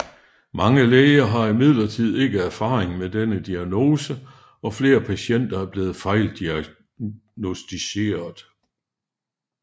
Mange læger har imidlertid ikke erfaring med denne diagnose og flere patienter er blevet fejldiagnosticeret